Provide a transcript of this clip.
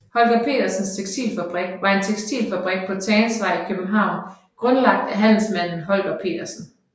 Holger Petersens Tekstilfabrik var en tekstilfabrik på Tagensvej i København grundlagt af handelsmanden Holger Petersen